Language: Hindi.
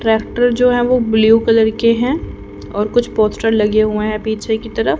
ट्रैक्टर जो है वो ब्लू कलर के हैं और कुछ पोस्टर लगे हुए हैं पीछे की तरफ।